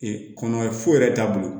kɔnɔ foyi yɛrɛ t'a bolo